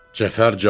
Cəfər Cabbarlı.